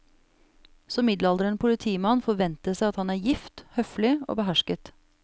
Som middelaldrende politimann forventes det at han er gift, høflig og behersket.